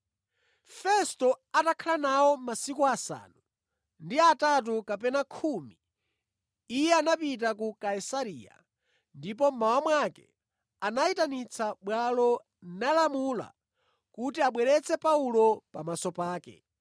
Festo atakhala nawo masiku asanu ndi atatu kapena khumi iye anapita ku Kaisareya, ndipo mmawa mwake anayitanitsa bwalo nalamula kuti abweretse Paulo pamaso pake.